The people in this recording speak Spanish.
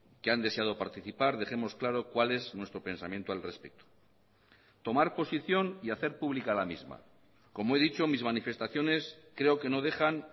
que han deseado participar dejemos claro cuál es nuestro pensamiento al respecto tomar posición y hacer pública la misma como he dicho mis manifestaciones creo que no dejan